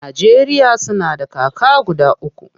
Najeriya suna da kaka guda uku.